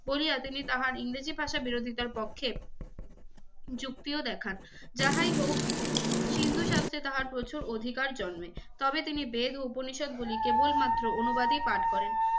বলিয়া তিনি তাহার ইংরেজি ভাষা বিরোধিতার পক্ষে যুক্তিও দেখান। যাহাই হোক সিন্ধু শাস্ত্রে তাহার প্রচুর অধিকার জন্মে তবে তিনি বেদ ও উপনিষেদ গুলি কেবলমাত্র অনুবাদই পাঠ করেন।